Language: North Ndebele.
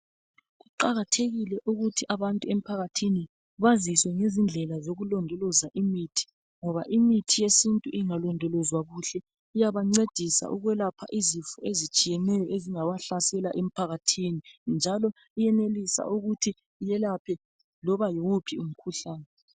Kuqakathekile ukuthi abantu emphakathini bazifundisi izindlela zolulondoloza imithi. Ngoba imithi yesintu ingalondolozwa kuhle iyabancedisa ukwelapha izifo ezitshiyeneyo ezingabahlasela emphakathini njalo iyenelisa ukuthi iyelaphe loba yiwuphi umkhuhlane.